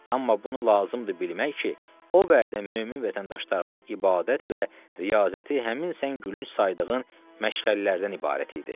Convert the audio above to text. Amma bunu lazımdır bilmək ki, o vədə mömin vətəndaşlarımın ibadət və riyazəti həmin sən gülünc saydığın məşğələlərdən ibarət idi.